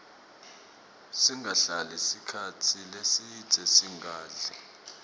singahlali sikhatsi lesidze singadli